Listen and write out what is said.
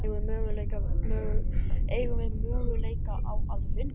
Eigum við möguleika á að vinna?